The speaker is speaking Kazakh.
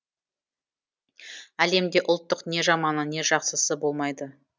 әлемде ұлттық не жаманы не жақсысы болмайды